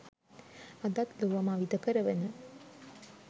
අදත් ලොව මවිත කරවන